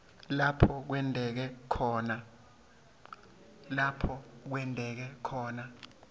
lapho kwenteke khona